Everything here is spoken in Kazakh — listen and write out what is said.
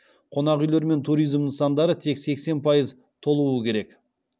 қонақ үйлер мен туризм нысандары тек сексен пайыз толуы керек